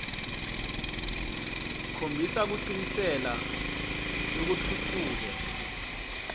khombisa kucikelela lokutfutfuke